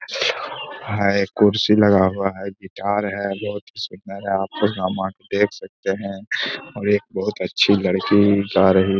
है कुर्सी लगा हुआ है। गिटार है। बहोत ही सुन्दर है। आपको यहाँ पे देख सकते हैं और एक बहुत अच्छी लकड़ी गा रही है।